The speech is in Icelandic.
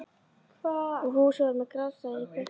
Fúsi var með grátstafinn í kverkunum.